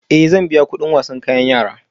Ee, zan biya kuɗin kayan wasan yara